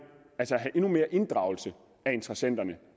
inddragelse af interessenterne